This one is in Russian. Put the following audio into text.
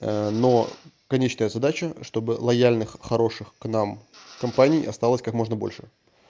но конечная задача чтобы лояльных хороших к нам компаний осталось как можно больше